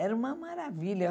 Era uma maravilha.